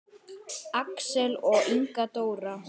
Axel og Inga Dóra.